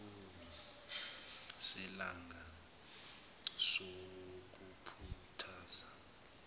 isikhulumi selanga sokukhuthaza